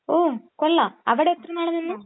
ഓഹ്. കൊള്ളാം, അവിടെ എത്ര നാള് നിന്നു?